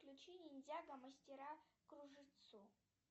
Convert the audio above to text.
включи ниндзяго мастера кружицу